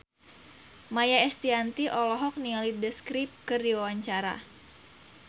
Maia Estianty olohok ningali The Script keur diwawancara